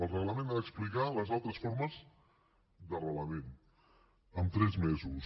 el reglament ha d’explicar les altres formes d’arrelament en tres mesos